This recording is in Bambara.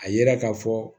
A yira ka fɔ